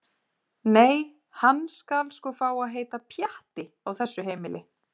Nei- hann skal sko fá að heita Pjatti á þessu heimili.